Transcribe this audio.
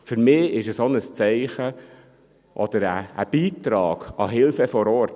Für mich ist es auch ein Zeichen oder ein Beitrag an die Hilfe vor Ort.